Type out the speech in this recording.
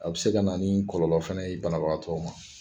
A bɛ se ka na ni kɔlɔnlɔ fɛna ye banabagatɔ ma.